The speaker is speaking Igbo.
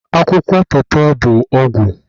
akwụkwọ pawpaw bụ ọgwụ